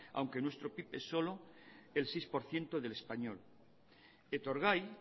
aunque nuestro pib es solo el seis por ciento del español etorgai